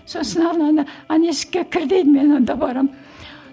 сосын ананы ана есікке кір дейді мен онда барамын